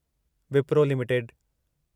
Wipro limited